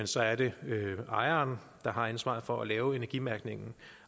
så er det ejeren der har ansvaret for at lave energimærkningen